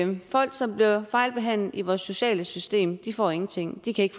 folk som bliver fejlbehandlet i vores sociale system får ingenting de kan ikke